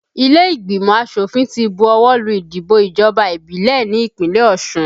Ilé ìgbìmọ̀ asòfin ti bu ọwọ́ lù ìdìbò ìjọba ìbílẹ̀ ní ìpínlẹ̀ Osun